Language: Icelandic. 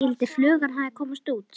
Skyldi flugan hafa komist út?